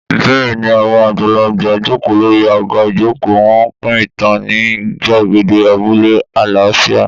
Bẹ́ẹ̀ni, àwọn àgbàlagbà jókòó lórí àga ìjókòó, wọ́n ń pín ìtàn ní gbàgede abúlé àlàáfíà.